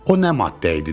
O nə madde idi dedilər.